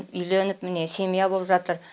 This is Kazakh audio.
үйленіп міне семья боп жатыр